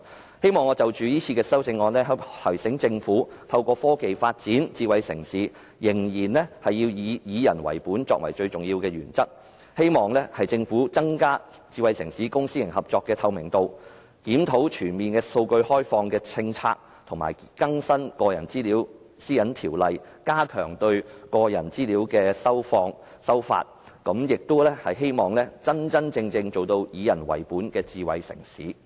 我希望藉這次的修正案提醒政府，透過科技發展智慧城市仍須以以人為本作為最重要的原則，希望政府增加智慧城市公私營合作的透明度、檢討全面開放數據的政策，以及更新《個人資料條例》，加強對個人資料的收發，亦希望香港能真真正正成為以人為本的智慧城市。